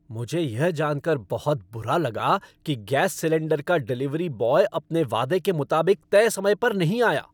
मुझे यह जान कर बहुत बुरा लगा कि गैस सिलेंडर का डिलीवरी बॉय अपने वादे के मुताबिक तय समय पर नहीं आया।